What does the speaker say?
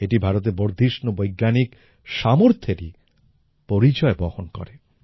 এটি ভারতের বর্ধিষ্ণু বৈজ্ঞানিক সামর্থ্যেরই পরিচয় বহন করে